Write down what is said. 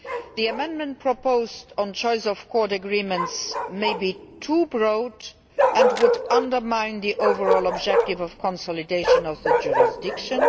The amendment proposed on choice of court agreements may be too broad and would undermine the overall objective of consolidation of jurisdiction.